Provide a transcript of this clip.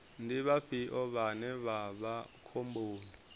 ndi vhafhio vhane vha vha khomboni